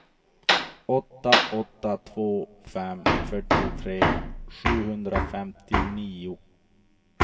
åtta åtta två fem fyrtiotre sjuhundrafemtionio